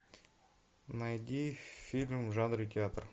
найди фильм в жанре театр